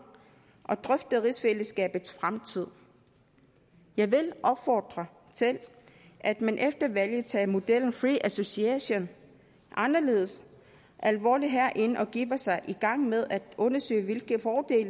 og drøfte rigsfællesskabets fremtid jeg vil opfordre til at man efter valget tager modellen free association anderledes alvorligt herinde og begiver sig i gang med at undersøge hvilke fordele